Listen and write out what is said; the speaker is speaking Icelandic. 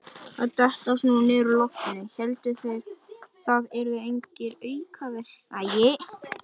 Að detta svona niður úr loftinu: héldu þeir það yrðu engar aukaverkanir?